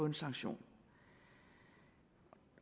en sanktion